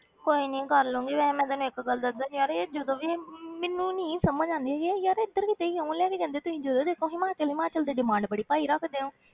ਕੋਈ ਨੀ ਕਰ ਲਵਾਂਗੀ, ਵੈਸੇ ਮੈਂ ਤੈਨੂੰ ਇੱਕ ਗੱਲ ਦੱਸ ਦੇਵਾਂ ਯਾਰ ਇਹ ਜਦੋਂ ਵੀ ਇਹ ਮੈਨੂੰ ਨੀ ਸਮਝ ਆਉਂਦੀ ਹੈ ਯਾਰ ਇੱਧਰ ਕਿਤੇ ਹੀ online ਹੀ ਰਹਿੰਦੇ ਤੁਸੀਂ ਜਦੋਂ ਦੇਖੋ ਹਿਮਾਚਲ ਹਿਮਾਚਲ ਦੀ demand ਬੜੀ ਪਾਈ ਰੱਖਦੇ ਹੋ।